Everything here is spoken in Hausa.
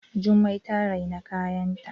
Jummai ta rina kayanta